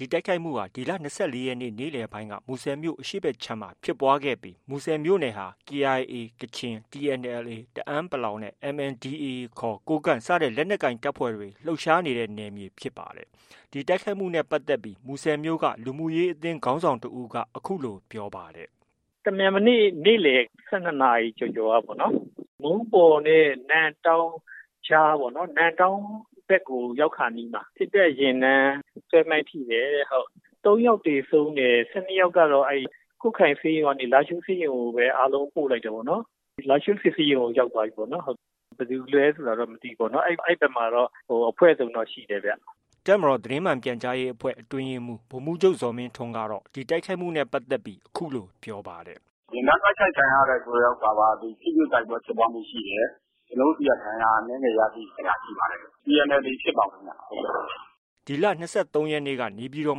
ဒီတိုက်ခိုက်မှုဟာ ဒီလ ၂၄ ရက်နေ့ နေ့လည်ပိုင်းက မူဆယ်မြို့ အရှေ့ဘက်ခြမ်းမှာ ဖြစ်ပွားခဲ့တာဖြစ်ပြီး မူဆယ်မြို့နယ်ဟာ KIA ကချင်၊ TNLA တအန်း နဲ့ MNDAA ခေါ် ကိုးကန့်စတဲ့ လက်နက်ကိုင် တပ်ဖွဲ့တွေ လှုပ်ရှားနေတဲ့ နယ်မြေ ဖြစ်ပါတယ်။ ဒီတိုက်ခိုက်ခံရမှုနဲ့ ပတ်သက်ပြီး မူဆယ်မြို့က လူမှုရေးအသင်းခေါင်းဆောင်တဦးက အခုလို ပြောပါတယ်။ “တမြန်မနေ့ နေ့လည် ၁၂နာရီ ကျော်ကျော်ကပေါ့နော်။ မုန်းပေါ်နဲ့ နမ့်တောင်းကြားပေါ့နော်။ နမ့်တောင်းဘက်ကို ရောက်ခါနီးမှာ စစ်တပ်ယာဉ်တန်း ဆွဲမိုင်းထိတယ်တဲ့။ ၃ ယောက် သေဆုံးတယ်။ ၁၂ယောက်ကတော့ ကွတ်ခိုင်ဆေးရုံကနေ လားရှိုးဆေးရုံကိုပဲ အားလုံးပို့လိုက်တယ်ပေါ့နော်။ လားရှိုးစစ်ဆေးရုံကို ရောက်သွားပြီပေါ့နော်။ ဘယ်သူလဲ ဆိုတာတော့ မသိဘူးပေါ့နော်။ အဲဒီဘက်မှာတော့ အဖွဲ့စုံတော့ ရှိတယ်ဗျ။” တပ်မတော်သ တင်းမှန်ပြန်ကြားရေးအဖွဲ့အတွင်းရေးမှုး ဗိုလ်မှုးချုပ် ဇော်မင်းထွန်းက ဒီတိုက်ခိုက်မှုနဲ့ ပတ်သက်ပြီး အခုလို ပြောပါတယ်။ “ယာဉ်တန်း တိုက်ခိုက်ခံရတယ်ဆိုတာက ထိတွေ့ တိုက်ပွဲဖြစ်ပွားမှု ရှိတယ်။ ကျနော်တို့ ဆီက ဒဏ်ရာအနည်းငယ်ရရှိခဲ့တာ ရှိပါတယ်။ TNLA ဖြစ်ပါတယ်ခင်ဗျ။” ဒီလ ၂၃ ရက်နေ့က နေပြည်တော်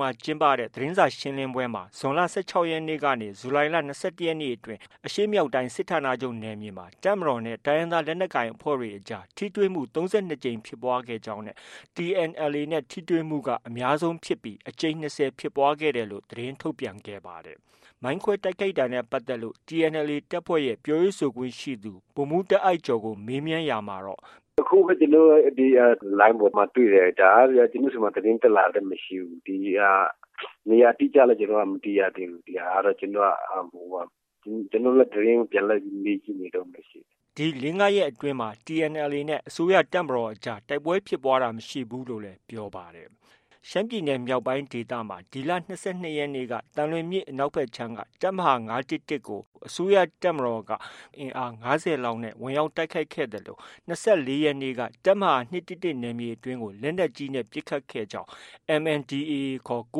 မှာ ကျင်းပတဲ့ သတင်းစာရှင်းလင်းပွဲမှာ ဇွန်လ ၁၆ ရက်နေ့ကနေ ဇူလိုင်လ ၂၁ ရက်နေ့အတွင်း အရှေ့မြောက်တိုင်း စစ်ဌာနချုပ်နယ်မြေမှာ တပ်မတော်နဲ့ တိုင်းရင်းသားလက်နက်ကိုင် အဖွဲ့တွေ အကြား ထိတွေ့မှု ၃၂ ကြိမ်ဖြစ်ပွားကြောင်းနဲ့ TNLA နဲ့ ထိတွေ့မှုက အများဆုံးဖြစ်ပြီး အကြိမ်၂၀ ဖြစ်ပွားခဲ့ကြောင်း သတင်းထုတ်ပြန်ခဲ့ပါတယ်။ မိုင်းခွဲတိုက်ခိုက်မှုနဲ့ ပတ်သက်ပြီး TNLA တပ်ဖွဲ့ရဲ့ ပြောရေးဆိုခွင့်ရှိသူ ဗိုလ်မှူးတားအိုက်ကျော်ကို မေးမြန်းရာမှာ- “အခုပဲ ကျနော်တို့ လိုင်းပေါ်မှာတွေ့တယ်။ ဒါကဗျာ ကျနော်တို့ဆီမှာ သတင်းတက်လာတာလည်း မရှိဘူး။ နေရာအတိအကျလည်း မသိရသေးဘူး။ ကျနော်တို့လည်း သတင်း ပြန်လိုက်မေးနေတုံးပဲရှိတယ်။” ဒီ ၄- ၅ရက်အတွင်းမှာတော့ TNLA နဲ့ အစိုးရတပ်မတော်အကြား တိုက်ပွဲဖြစ်ပွားတာ မရှိဘူးလို့လည်း ပြောပါတယ်။ ရှမ်းပြည်နယ်မြောက်ပိုင်း ဒေသမှာ ဒီလ ၂၂ ရက်က သံလွင်မြစ်အနောက်ခြမ်းကတပ်မဟာ ၅၁၁ ကို တပ်မတော်အင်အား ၅၀ လောက်နဲ့ ဝင်ရောက်တိုက်ခိုက်ခဲ့သလို ၂၄ ရက်နေ့က တပ်မဟာ ၂၁၁ နယ်မြေအတွင်းကို လက်နက်ကြီးနဲ့ ပစ်ခတ်ခဲ့ကြောင်း MNDAA က သ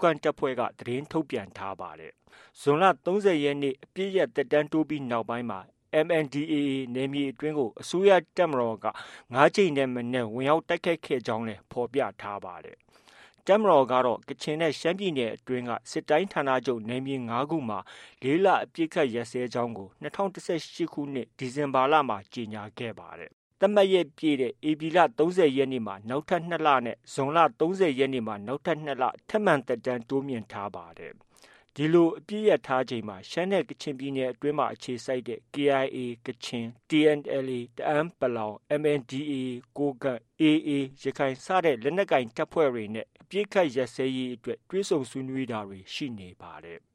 တင်းထုတ်ပြန်ထားပါတယ်။ ဇွန်လ ၃၀ ရက်နေ့ အပစ်ရပ် သက်တမ်းတိုးပြီးနောက်ပိုင်းမှာ MNDAA နယ်မြေအတွင်းကို အစိုးရ တပ်မတော်က ၅ ကြိမ်ထက်မနည်း ဖြစ်ပွားခဲ့ကြောင်းလည်း ဖော်ပြထားပါတယ်။ တပ်မတော်ကတော့ ကချင်နဲ့ ရှမ်းပြည်နယ်အတွင်းက စစ်တိုင်းဌာနချုပ် နယ်မြေ ၅ခုမှာ ၄ လ အပစ်အခတ်ရပ်စဲကြောင်း ၂၀၁၈ ခုနှစ် ဒီဇင်ဘာလမှ ကြေညာခဲ့ပါတယ်။ သတ်မှတ်ရက်ပြည့်တဲ့ ဧပြီလ ၃၀ ရက်မှ နောက်ထပ် ၂ လ နဲ့ ဇွန်လ ၃၀ ရက်မှ နောက်ထပ် ၂ လ ထပ်မံ သက်တမ်းတိုးမြှင့်ထားပါတယ်။ ဒီလို အပစ်ရပ်ထားချိန်မှာပဲ ကချင်နဲ့ ရှမ်းပြည်နယ်အတွင်း အခြေစိုက်တဲ့ KIA ကချင်၊ TNLA တအန်း ၊ MNDAA ကိုးကန့်၊ AA ရခိုင်လက်နက်ကိုင်တပ်တွေနဲ့ အပစ်အခတ်ရပ်စဲရေးအတွက် တွေ့ဆုံဆွေးနွေးတာတွေ ရှိနေပါတယ်။